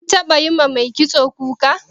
Kin taɓa yiwa mai kitso kuka?